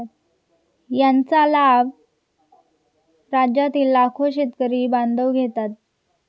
यांचा लाभ राज्यातील लाखो शेतकरी बांधव घेतात.